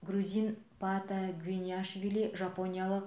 грузин паата гвиниашвилли жапониялық